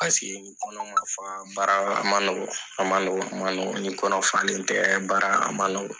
Paseke ni kɔnɔ ma fa baara yɔrɔ a nɔgɔ a nɔgɔ ma nɔgɔ ni kɔnɔ falen tɛ baara a ma nɔgɔ